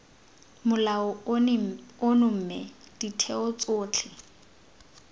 molao ono mme ditheo tsotlhe